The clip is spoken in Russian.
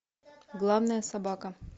главная собака